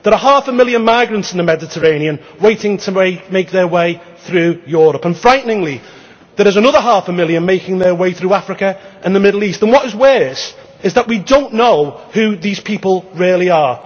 There are half a million migrants in the Mediterranean waiting to make their way through Europe, and frighteningly, there are another half a million making their way through Africa and the Middle East and what is worse is that we do not know who these people really